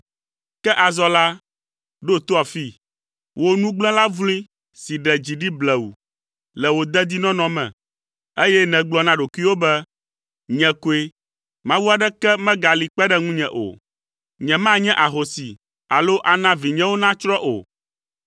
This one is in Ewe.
“Ke azɔ la, ɖo to afii. Wò nugblẽla vloe si ɖe dzi ɖi blewu le wò dedinɔnɔ me, eye nègblɔ na ɖokuiwò be, ‘Nye koe, mawu aɖeke megali kpe ɖe ŋunye o. Nyemanye ahosi alo ana vinyewo natsrɔ̃ o.’